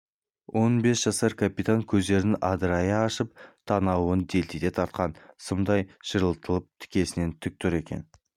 он бес жасар капитан көздерін адырайта ашып танауын делдите тартқан сымдай ширатылып тікесінен тік тұр егер